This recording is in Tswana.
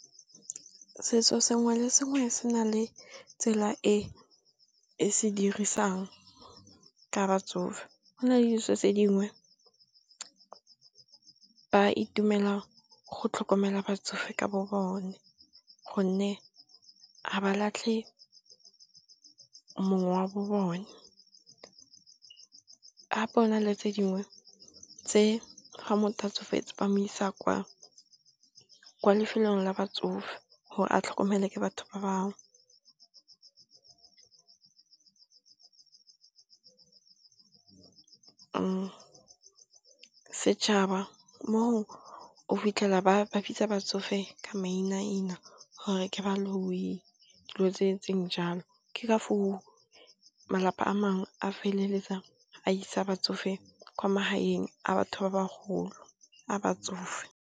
Setso sengwe le sengwe se na le tsela e e se dirisang ka batsofe. Go na le ditso tse dingwe ba itumela go tlhokomela batsofe ka bo bone, gonne a ba latlhe mong wa bo bone a bona le tse dingwe tse ga motho ga tsofetse ba mo isa kwa kwa lefelong la batsofe gore a tlhokomelwa ke batho ba bangwe. Setšhaba moo o fitlhela ba babitsa batsofe ka mainaina gore ke baloyi dilo tse etseng jalo. Ke ka foo, malapa a mangwe a feleletsa a isa batsofe kwa magaeng a batho ba ba golo a batsofe.